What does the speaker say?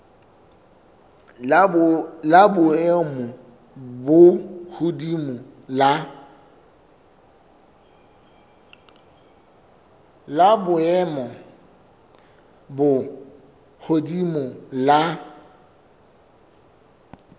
la boemo bo hodimo la